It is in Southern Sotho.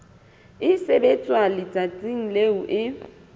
e sebetswa letsatsing leo e